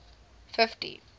fifty